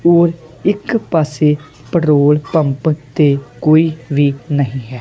ਔਰ ਇੱਕ ਪਾਸੇ ਪੈਟਰੋਲ ਪੰਪ ਤੇ ਕੋਈ ਵੀ ਨਹੀਂ ਹੈ।